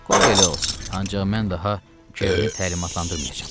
Qoy elə olsun, ancaq mən daha Kerni təlimatlandırmayacam.